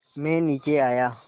मैं नीचे आया